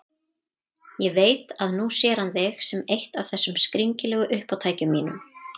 Ég veit að nú sér hann þig sem eitt af þessum skringilegu uppátækjum mínum.